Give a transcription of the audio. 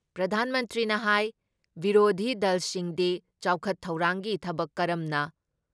ꯄ꯭ꯔꯙꯥꯟ ꯃꯟꯇ꯭ꯔꯤꯅ ꯍꯥꯥꯏ ꯕꯤꯔꯣꯙꯤ ꯗꯜꯁꯤꯡꯗꯤ ꯆꯥꯎꯈꯠ ꯊꯧꯔꯥꯡꯒꯤ ꯊꯕꯛ ꯀꯔꯝꯅ